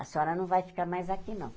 A senhora não vai ficar mais aqui, não.